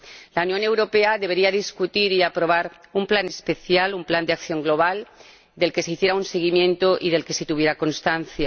La Unión Europea debería discutir y aprobar un plan especial, un plan de acción global, del que se hiciera un seguimiento y del que se tuviera constancia.